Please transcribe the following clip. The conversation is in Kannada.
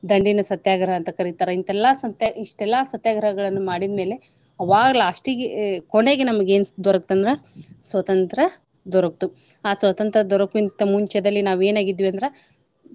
ದಂಡಿನ ಸತ್ಯಾಗ್ರಹ ಅಂತ ಕರಿತಾರ ಇಂತೆಲ್ಲಾ ಸತ್ಯ ಇಷ್ಟೆಲ್ಲಾ ಸತ್ಯಾಗ್ರಹಗಳನ್ನ ಮಾಡಿದ್ ಮೇಲೆ ಅವಾಗ last ಗೆ ಕೊನೆಗೆ ನಮಗೆ ಏನ ದೊರಕ್ತಂದ್ರ ಸ್ವತಂತ್ರ ದೊರಕ್ತು. ಆ ಸ್ವತಂತ್ರ ದೊರಕುವಂತ ಮುಂಚೆದಲ್ಲಿ ನಾವ ಏನ ಆಗಿದ್ವಿ ಅಂದ್ರ.